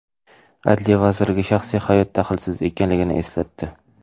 Adliya vazirligi shaxsiy hayot daxlsiz ekanligini eslatdi.